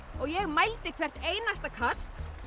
ég mældi hvert einasta kast